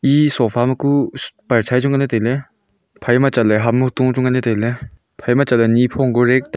e sofa maku parishayen chu nganley tailey phaima chatley ham oto tu nganley tailey phaima chatley nipho kori--